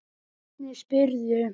Hvernig spyrðu.